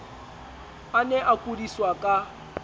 a ne a kudiswa ka